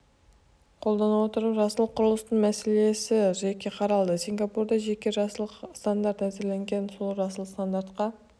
қолдана отырып жасыл құрылыстың мәселесі жеке қаралды сингапурда жеке жасыл стандарт әзірленген сол жасыл стандартқа